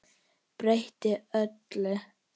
Breytti öllu.